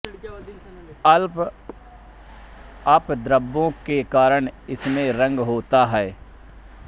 अल्प अपद्रव्यों के कारण इसमें रंग होता है